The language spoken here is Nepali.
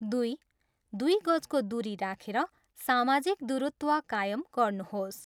दुई, दुई गजको दुरी राखेर सामाजिक दूरत्व कायम गर्नुहोस।